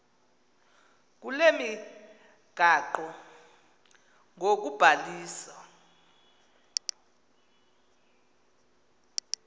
kule migaqo ngokubhaliswa